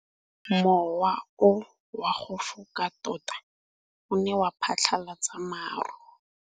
Mowa o wa go foka tota o ne wa phatlalatsa maru.